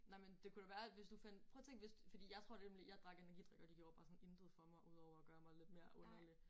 Nej men det kunne da være at hvis du fandt prøv at tænke hvis fordi jeg tror nemlig jeg drak energidrik og det gjorde bare sådan intet for mig udover at gøre mig lidt mere underlig